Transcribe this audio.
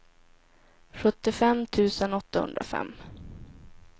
sjuttiofem tusen åttahundrafem